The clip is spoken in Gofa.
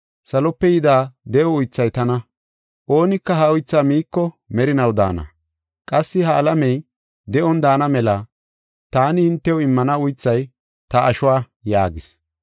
Salope yida de7o uythay tana. Oonika ha uythaa miiko merinaw daana. Qassi ha alamey de7on daana mela taani hintew immana uythay ta ashuwa” yaagis.